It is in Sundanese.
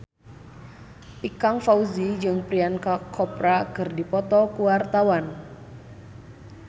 Ikang Fawzi jeung Priyanka Chopra keur dipoto ku wartawan